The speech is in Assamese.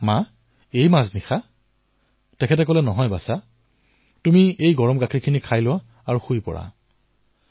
মই কলো মা ইমান ৰাতি আপুনি তেওঁ কলে নহয় বাচা আপুনি এটা কাম কৰক এই গৰম গাখীৰ খাই শুই পৰক